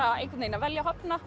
einhvern veginn að velja og hafna